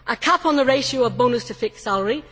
a cap on the ratio of bonus to fixed salary